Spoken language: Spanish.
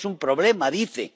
tenemos un problema, dice.